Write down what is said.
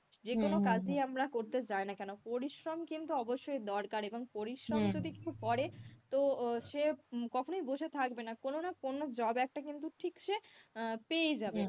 যেকোনো কাজই আমরা করতে যাই না কেন পরিশ্রম কিন্তু অবশ্যই দরকার এবং পরিশ্রম যদি কেউ করে তো সে কখনোই বসে থাকবে না, কোন না কোন job একটা কিন্তু ঠিক সে আহ পেয়েই যাবে হম